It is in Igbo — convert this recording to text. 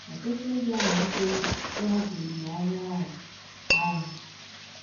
Ọtụtụ ndị amalitela ịhapụ olileanya ahụ. ahụ.